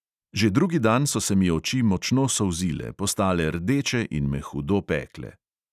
Že drugi dan so se mi oči močno solzile, postale rdeče in me hudo pekle.